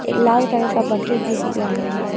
एक लाल कलर का बकेट भी दिख रहा है।